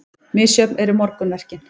Misjöfn eru morgunverkin.